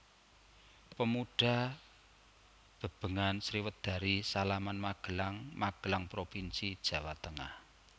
Pemuda Bebengan Sriwedari Salaman Magelang Magelang provinsi Jawa Tengah